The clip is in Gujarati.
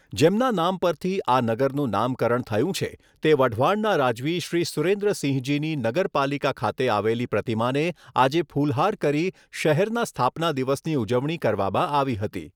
જેમના નામ પરથી આ નગરનું નામકરણ થયું છે તે વઢવાણના રાજવી શ્રી સુરેન્દ્રસિંહજીની નગરપાલિકા ખાતે આવેલી પ્રતિમાને આજે ફુલહાર કરી શહેરના સ્થાપના દિવસની ઉજવણી કરવામાં આવી હતી.